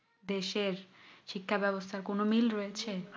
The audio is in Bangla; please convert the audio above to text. দেশ এর শিক্ষা ব্যবস্থার কি কোনো মিল রয়েছে